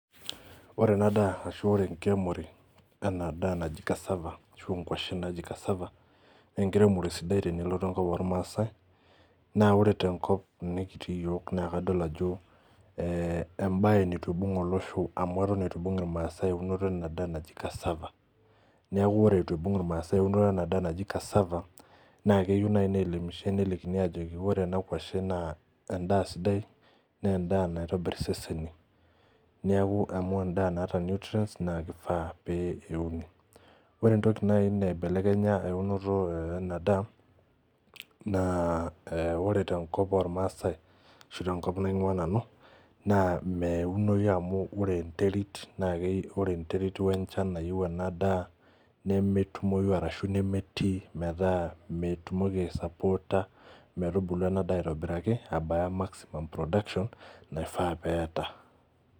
Ore ena daa ashu ore enkiremore ena daa naji cassava ashu inkuashen naji cassava nenkiremore sidai tenelotu enkop ormaasae naa ore tenkop nekitii iyiok naa kadol ajo eh embaye nitu ibung olosho amu eton itu ibung irmaasae eunoto ena daa naji cassava niaku ore itu ibung irmaasae eunoto ena daa naji cassava naa keyu naai neelimishae nelikini ajoki wore ena kuashe naa endaa sidai nendaa naitobirr neeku amu endaa naata nutrients naa kifaa pee euni ore entoki naai naibelekenya eunoto eh ena daa naa eh ore tenkop ormaasae ashu tenkop naing'iua nanu naa meunoyu amu ore enterit wenchan nayieu ena daa nemetumoyu arashu nemetii metaa metumoki ae sapoota metubulu ena daa aitobiraki abaya maximum production naifaa pee eba.